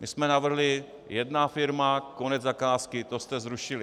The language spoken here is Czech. My jsme navrhli jedna firma, konec zakázky - to jste zrušili.